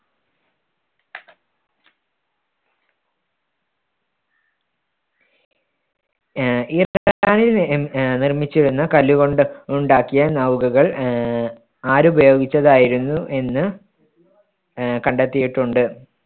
ആഹ് അഹ് നിർമ്മിച്ചു എന്ന് കല്ലുകൊണ്ട് ഉണ്ടാക്കിയ നൗകകൾ ആഹ് ആരുപയോഗിച്ചതായിരുന്നു എന്ന് ആഹ് കണ്ടെത്തിയിട്ടുണ്ട്.